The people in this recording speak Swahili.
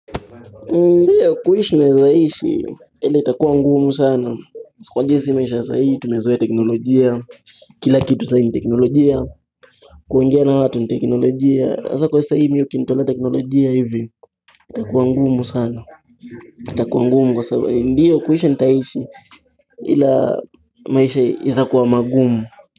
Ndiyo kuishi naeza ishi ila itakuwa ngumu sana. Kwa jinsi maisha ya saa hii, tumezoea teknolojia Kila kitu saa hii ni teknolojia kuongea na watu ni teknolojia hasa kwa saa hii saa mi ukinitolea teknolojia hivi itakuwa ngumu sana itakuwa ngumu kwa sababu ndiyo kuishi nitaishi ila maisha itakuwa mangumu.